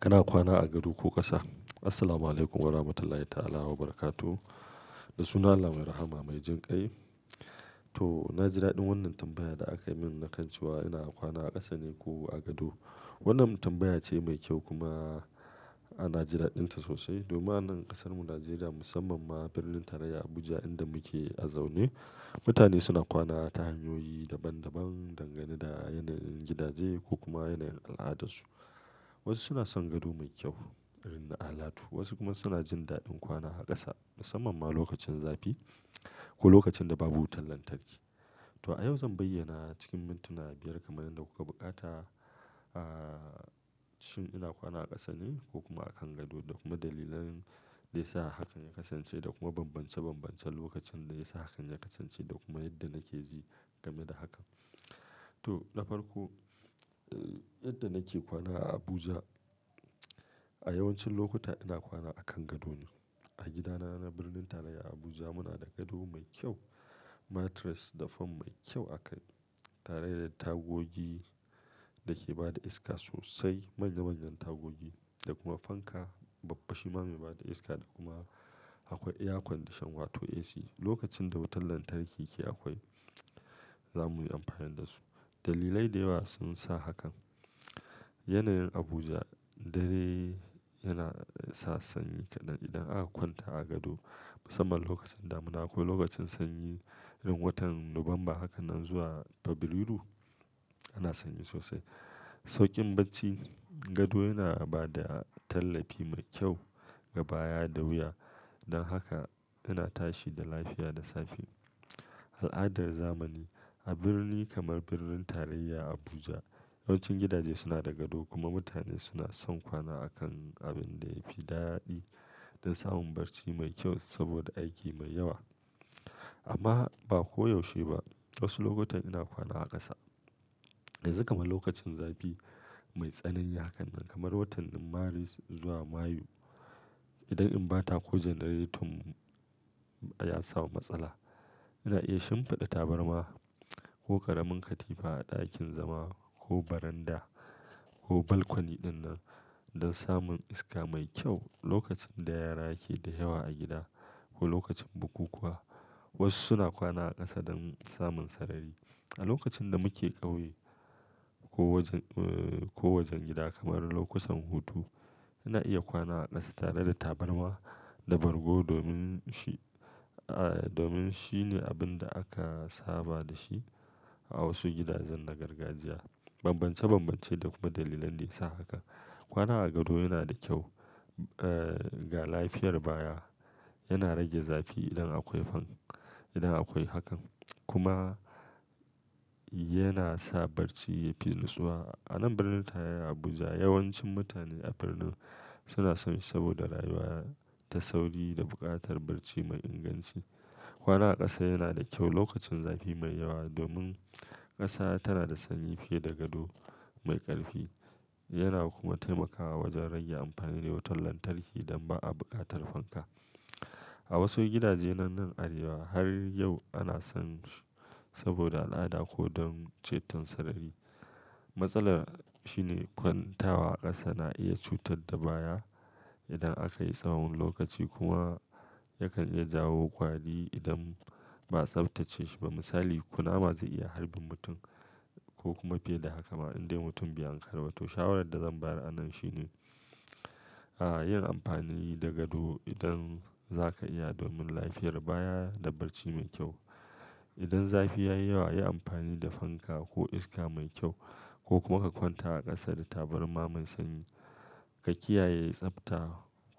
Kana kwana a gado ko ƙasa? Assalamualaikum warahmatullahi ta'ala wabarakatuh da sunan Allah mai rahama mai jin kai. To, na jidaɗin wannan tambayar da aka yi min na kan cewa ina kwana a ƙasa ne ko a gado. Wannan tambaya ce mai kyau kuma ana jida ɗinta sosai. Domin anan ƙasarmu Najeriya musamman ma birnin tarayya Abuja inda muke zaune, mutane suna kwana ta hanyoyi daban daban dangane da yanayin gidaje ko kuma yanayin al'adarsu. Wasu suna son gado mai kyau, irin na alatu, wasu kuma suna jin daɗin kwana a ƙasa musamman ma lokacin zafi ko lokacin da babu wutar lantarki. To a yau zan bayyana cikin mintuna biyar kamar yadda kuka buƙata, ah, shin ina kwana a ƙasa ne ko kuma a kan gado da kuma dalilan da yasa hakan ya kasance da kuma bambance bambancen lokacin da ya sa hakan ya kasance da kuma yadda nake ji game da hakan. To, na farko, eh, yadda nake kwana a Abuja a yawancin lokuta ina kwana a kan gado ne. A gidana na birnin tarayya Abuja muna da gado mai kyau, mattress da fan mai kyau akai tare da tagogi da ke ba da iska sosai, manya manyan tagogi da kuma fanka babba shima mai ba da iska da kuma akwai air conditioner wato AC. Lokacin da wutar lantarki ke akwai za mu yi amfani da su. Dalilai da yawa sun sa hakan. Yanayin Abuja dare yana sa sanyi kaɗan idan aka kwanta a gado musamman lokacin damuna ko lokacin sanyi irin watan Nuwamba haka nan zuwa Fabrairu ana sanyi sosai. Sauƙin barci, gado yana ba da tallafi mai kyau ga baya da wuya. Dan haka ina tashi da lafiya da safe. Al'adar zamani a birni kamar birnin tarayya Abuja yawancin gidaje suna da gado kuma mutane suna son kwana a kan abin da ya fi daɗi da samun barci mai kyau saboda aiki mai yawa. Amma ba koyaushe ba. Wasu lokutan ina kwana a ƙasa. Yanzu kamar lokacin zafi mai tsanani hakan nan kamar watan Maris zuwa Mayu. Idan in ba ta ko janareton ya samu matsala ina iya shimfiɗa tabarma ko karamin katifa a ɗakin zama ko baranda ko balkoni ɗinnan don samun iska mai kyau lokacin da yara ke da yawa a gida ko lokacin bukukuwa. Wasu suna kwana a ƙasa don samun sarari. A lokacin da muke ƙauye ko wajen, eh, ko wajen gida kamar lokutan hutu ina iya kwana a ƙasa tare da tabarma da bargo domin shi, ah, domin shine abin da aka saba da shi a wasu gidajen na gargajiya. Bambance bambance da kuma dalilan da ya sa haka. Kwana a gado yana da kyau, eh, ga lafiyar baya. Yana rage zafi idan akwai fan idan akwai hakan kuma yana sa barci yafi natsuwa. Anan birnin tarayya Abuja yawancin mutane a birnin suna sanyi saboda rayuwa ta sauri da buƙatar barci mai inganci. Kwana a ƙasa yana da kyau lokacin zafi mai yawa domin ƙasa tana da sanyi fiye da gado mai ƙarfi yana kuma taimakawa wajen rage amfani da wutar lantarki don ba a buƙatar fanka. A wasu gidaje nan nan Arewa har yau ana sanyi saboda al'ada ko don ceton sarari. Matsalar shine kwantawa a ƙasa na iya cutar da baya idan aka yi tsawon lokaci kuma yakan iya jawo kwali idan ba a tsaftace shi ba. Misali ƙuna ma zai iya harbin mutum ko kuma fiye da haka ma indai mutum bai an karaba. To shawarar da zan bayar anan shine, ah, yin amfani da gado idan za ka iya domin lafiyar baya da barci mai kyau. Idan zafi ya yi yawa yi amfani da fanka ko iska mai kyau ko kuma ka kwanta a ƙasa da tabarma mai sanyi. Ka kiyaye tsafta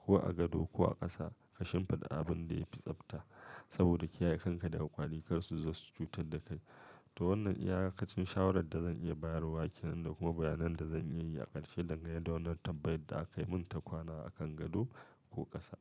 ko a gado ko a ƙasa ka shimfiɗa abin da ya fi tsafta saboda kiyaye kanka daga ƙwalikarsu za su cutar da kai. To wannan iya kacin shawarar da zan iya bayarwa ke nan da kuma bayanan da zan iya yi a ƙarshe dangane da wannan tambayar da aka yi mun ta kwana a kan gado ko ƙasa.